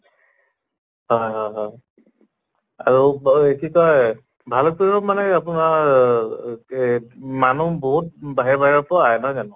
হয় হয় হয় আৰু কি কয় ভালুক্পুংত মানে আপোনাৰ এহ মানুহ বহুত বাহিৰা বাহিৰৰ পৰাও আহে নহয় জানো?